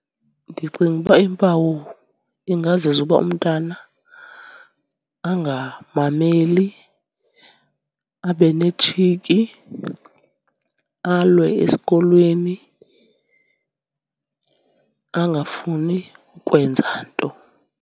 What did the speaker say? Ndicinga uba iimpawu ingazezi uba umntana angamameli, abe netshiki, alwe esikolweni, angafuni ukwenza nto.